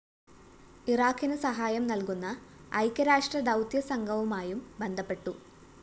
ഇറാഖിന്‌ സഹായം നല്‍കുന്ന ഐക്യരാഷ്ട്ര ദൗത്യ സംഘവുമായും ബന്ധപ്പെട്ടു